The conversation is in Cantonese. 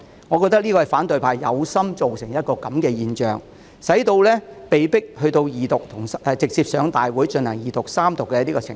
我認為這是反對派有心造成的情況，使《條例草案》被迫直接提交大會進行二讀和三讀的程序。